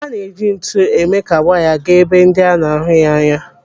A na-eji ntu eme ka waya gaa n'ebe ndị a na-ahụ anya.